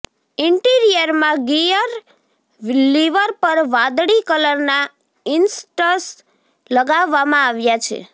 ઈન્ટીરિયરમાં gear lever પર વાદળી કલરના ઈંસર્ટસ લગાવવામાં આવ્યા છે